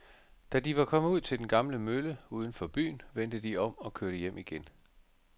Da de var kommet ud til den gamle mølle uden for byen, vendte de om og kørte hjem igen.